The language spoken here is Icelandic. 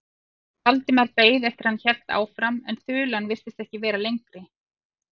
Valdimar beið eftir að hann héldi áfram en þulan virtist ekki vera lengri.